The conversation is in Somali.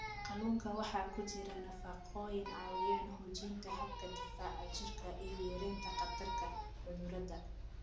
Kalluunka waxaa ku jira nafaqooyin caawiya xoojinta habka difaaca jirka iyo yareynta khatarta cudurrada.